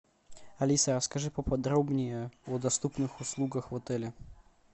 алиса расскажи поподробнее о доступных услугах в отеле